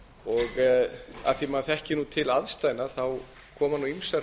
og af því að maður þekkir til aðstæðna koma ýmsar